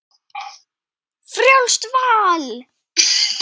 Frjálst val!